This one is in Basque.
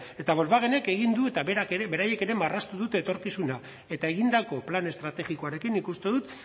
eta volkswagenek egin du eta berak ere beraiek ere marraztu dute etorkizuna eta egindako plan estrategikoarekin nik uste dut